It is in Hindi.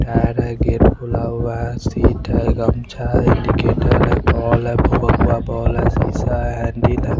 थाडा गेट खुला हुआ हें शिट हें गमछा हें एनिगेटर हें बोल हें शीसा हें एंडी ने --